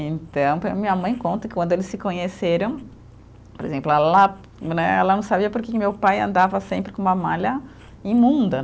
Então, até minha mãe conta que quando eles se conheceram, por exemplo, ela né, ela não sabia porque que meu pai andava sempre com uma malha imunda.